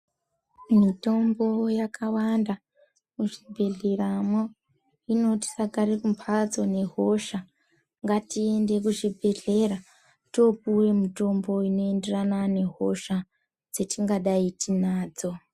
Mitombo yakawanda muzvibhedhleramwo. Hino tisagare kumbatso nehosha. Ngatiinde kuzvibhedhlera toopuwe mitombo inoenderana nehosha dzetingadai tiinadzo.